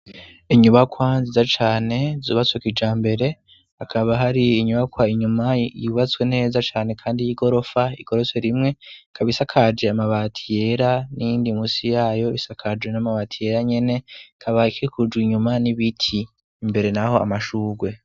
Inyubakwa nziza cane zubatse kijambere. Hakaba har'inyubakwa inyuma yubatswe neza cane kandi y'igorofa igeretswe rimwe, ikaba ishakaje amabati yera, n'iyindi musi yayo isakaje n'amabati yera nyene. Ikaba ikikujwe inyuma n'ibiti, imbere n'aho amashurwe.